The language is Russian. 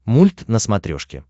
мульт на смотрешке